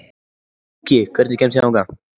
Gjúki, hvernig kemst ég þangað?